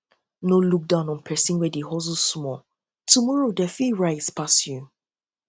no look down on persin wey dey hustle small tomorrow dem fit rise pass you